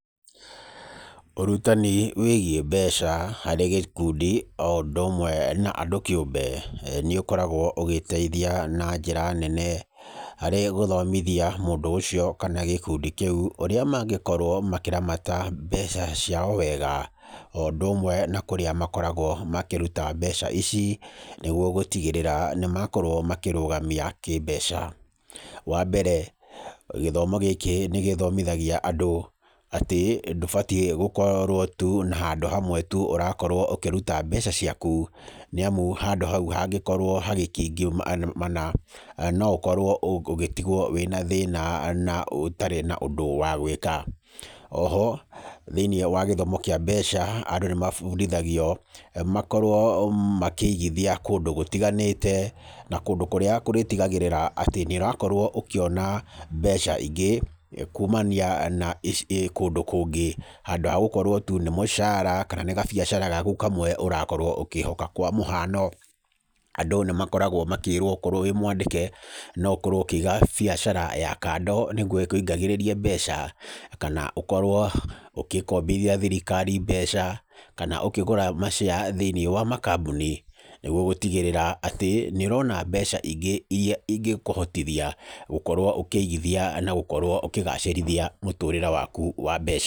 Ũrutani wĩgiĩ mbeca harĩ gĩkundi o ũndũ ũmwe na andũ kĩũmbe, nĩ ũkoragwo ũgĩteithia na njĩra nene harĩ gũthomithia mũndũ ũcio kana gĩkundi kĩu, ũrĩa mangĩkorwo makĩramata mbeca ciao wega. O ũndũ ũmwe na kũrĩa makoragwo makĩruta mbeca ici, nĩguo gũtigĩrĩra nĩ makorwo makĩĩrũgamia kĩmbeca. Wa mbere, gĩthomo gĩkĩ nĩ gĩthomithagia andũ, atĩ ndũbatiĩ gũkorwo tu na handũ hamwe tu ũrakorwo ũkĩruta mbeca ciaku, nĩ amu handũ hau hangĩkorwo hagĩkĩũngũmana, no ũkorwo ũgĩtigwo wĩna thĩna na ũtarĩ na ũndũ wa gwĩka. Oho, thĩiniĩ wa gĩthomo kĩa mbeca, andũ nĩ mabundithagio, makorwo makĩigithia kũndũ gũtiganĩte, na kũndũ kũrĩa kũrĩtigagĩrĩra atĩ, nĩ ũrakorwo ũkĩona mbeca ingĩ, kuumania na kũndũ kũngĩ. Handũ ha gũkorwo tu nĩ mũcara, kana nĩ gabiacara gaku kamwe ũrakorwo ũkĩhoka. Kwa mũhano, andũ nĩ makoragwo makĩrwo okorwo wĩ mwandĩke, no ũkorwo ũkĩĩga biacara ya kando nĩguo ĩkũingagĩrĩrie mbeca, kana ũkorwo ũkĩkombithia thirikari mbeca, kana ũkĩgũra ma share thĩinĩ wa makambuni. Nĩguo gũtigĩrĩra atĩ, nĩ ũrona mbeca ingĩ irĩa ingĩkũhotithia gũkorwo ũkĩigithia na gũkorwo ũkĩgacĩrithia mũtũrĩre waku wa mbeca.